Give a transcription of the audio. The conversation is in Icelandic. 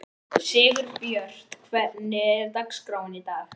Sigurbjört, hvernig er dagskráin í dag?